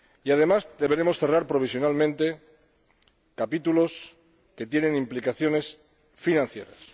Además, deberemos cerrar provisionalmente capítulos que tienen implicaciones financieras.